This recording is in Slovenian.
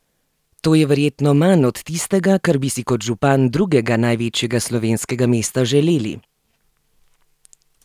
To je verjetno manj od tistega, kar bi si kot župan drugega največjega slovenskega mesta želeli?